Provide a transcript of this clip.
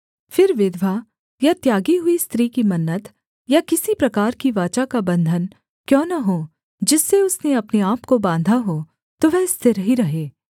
फिर विधवा या त्यागी हुई स्त्री की मन्नत या किसी प्रकार की वाचा का बन्धन क्यों न हो जिससे उसने अपने आपको बाँधा हो तो वह स्थिर ही रहे